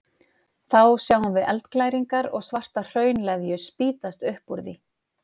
Þá sáum við eldglæringar og svarta hraunleðju spýtast upp úr því.